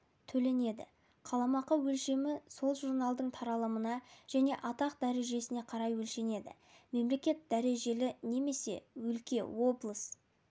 төленеді қаламақы өлшемі сол журналдың таралымына және атақ-дәрежесіне қарай өлшенеді мемлекет дәрежелі немесе өлке облыс